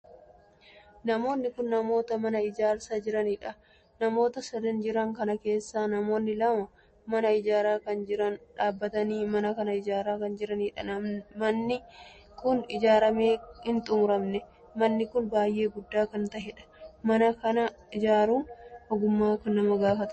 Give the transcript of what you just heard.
Namoonni kun namoota mana ijaarsa jiraniidha. namoota sadan jiran kana keessaa namoonni lama mana ijaaraa jiran irra dhaabbatanii mana kana ijaaraa kan jiraniidha. manni kun ijaaramee hin xumuramne. manni kun baay'ee guddaa kan taheedha. mana kana ijaaruun ogummaa kan gaafatuudha.